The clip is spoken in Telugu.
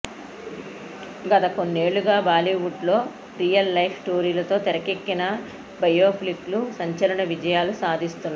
గత కొన్నేళ్లుగా బాలీవుడ్లో రియల్ లైఫ్ స్టోరీలతో తెరకెక్కిన బయోపిక్లు సంచలన విజయాలు సాధిస్తున్నాయి